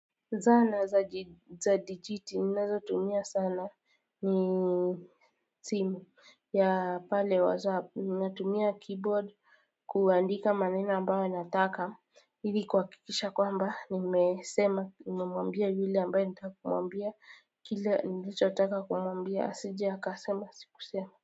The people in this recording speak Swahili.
Zana za digiti ninazotumia sana ni simu ya pale whatsapp, ninatumia keyboard kuandika maneno ambayo anataka ili kuhakikisha kwamba nimesema nimemwambia yule ambaye nataka kumwambia kile ninacho taka kumwambia asije akasema sikusema.